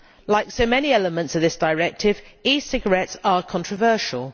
Like so many elements in this directive, e cigarettes are controversial.